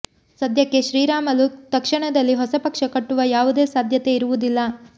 ಸಧ್ಯಕ್ಕೆ ಶ್ರೀರಾಮಲು ತಕ್ಷಣದಲ್ಲಿ ಹೊಸ ಪಕ್ಷ ಕಟ್ಟುವ ಯಾವುದೇ ಸಾಧ್ಯತೆ ಇರುವುದಿಲ್ಲ